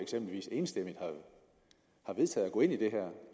enstemmigt har vedtaget at gå ind i det her